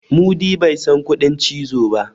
mudi ba San kuɗin cizo ba